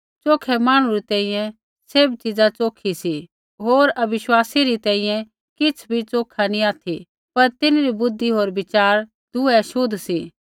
च़ोखै मांहणु री तैंईंयैं सैभ चिजा च़ोखी सी होर अविश्वासी री तैंईंयैं किछ़ भी च़ोखा नैंई ऑथि पर तिन्हरी बुद्धि होर विचार दुऐ छ़ोतले सी